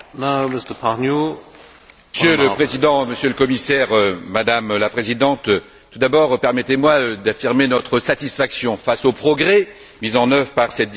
Monsieur le Président, Monsieur le Commissaire, Madame la Présidente, tout d'abord, permettez moi d'affirmer notre satisfaction face aux progrès mis en œuvre par cette directive que nous allons voter demain.